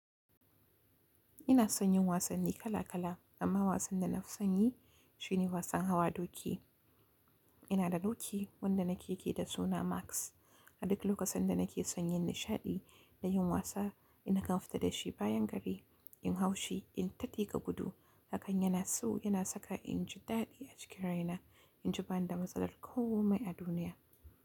Ina son yin wasanni kala kala amma wasan da nafi son yi shine wasan hawa doki. Ina da doki wanda nake, yake da suna Max. A duk lokacin da nake son yin nishaɗi da yin wasa, ina kan fita da shi bayan gari, in hau shi, in ta tiƙa gudu, haka yana so, yana saka inji daɗi a jikina, inji ban da matsalar komai a duniya.